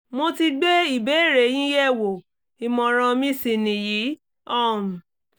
mo ti gbé ìbéèrè yín yẹ̀wò ìmọ̀ràn mi sì nìyí um